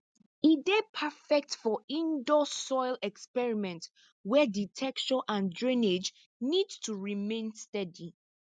e dey perfect for indoor soil experiment where di texture and drainage need to remain steady